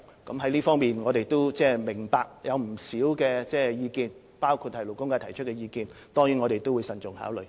我們明白在這方面有不少不同意見，包括勞工界提出的意見，我們定當慎重考慮。